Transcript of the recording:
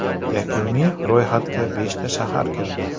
Yakuniy ro‘yxatga beshta shahar kirdi.